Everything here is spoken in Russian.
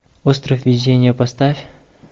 остров везения поставь